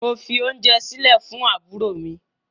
Mo fi ounje sile fun aburo mi